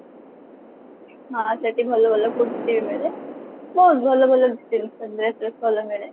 ହଁ ସେଠି ଭଲ ଭଲ kurti ବି ମିଳେ ବହୁତ ଭଲ ଭଲ ଜିନିଷ dress ବ୍ରେସ୍ ଭଲ ମିଳେ